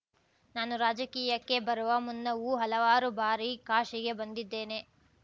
ನಾನು ರಾಜಕೀಯಕ್ಕೆ ಬರುವ ಮುನ್ನವೂ ಹಲವಾರು ಬಾರಿ ಕಾಶಿಗೆ ಬಂದಿದ್ದೇನೆ